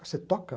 Você toca?